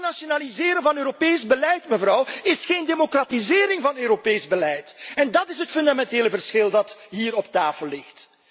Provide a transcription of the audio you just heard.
Hernationaliseren van Europees beleid is geen democratisering van Europees beleid en dat is het fundamentele verschil dat hier op tafel ligt.